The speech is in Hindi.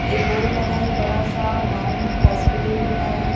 एक बोर्ड लगा है बड़ा सा माउंट हॉस्पिटल लिखा है.